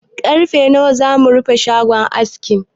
Karfe nawa za mu rufe shagon askin?